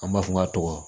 An b'a fɔ n ka tɔgɔ